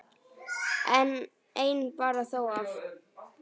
Einn bar þó af.